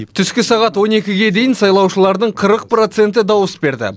түскі сағат он екіге дейін сайлаушылардың қырық проценті дауыс берді